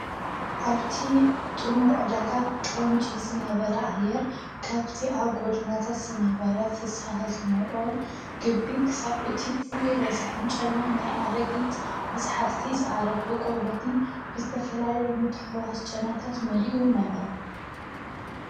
ኣብቲ ጥሙር ዕዳጋ ቐንጭ ዝነበረ ኣይር ካብቲ ኣብ ጐዱናታት ዝነበረ ፍሳሃ ዝመልኦ ግቢ ኽሳብ እቲ ፍሉይ ረሳሕን ጨና ናይ ኣረጊት መጽሓፍቲ ዝኣረገ ቖርበትን ብዝተፈላለይ ምትውዋስ ጨናታት መሊኡ ነበረ፡፡